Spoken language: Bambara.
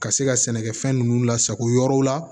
Ka se ka sɛnɛkɛfɛn ninnu lasago yɔrɔw la